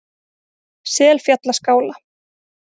Selfjallaskála